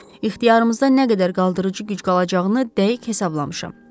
İxtiyarımızda nə qədər qaldırıcı güc qalacağını dəqiq hesablamışam.